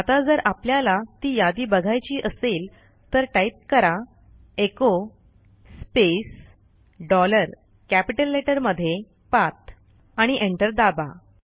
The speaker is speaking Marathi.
आता जर आपल्याला ती यादी बघायची असेल तर टाईप कराः एचो स्पेस डॉलर कॅपिटल लेटरमध्ये पाठ आणि एंटर दाबा